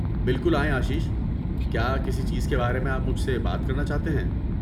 بالکل آئیں آشیش، کیا کسی چیز کے بارے میں آپ مجھے سے بات کرنا چاہتے ہیں؟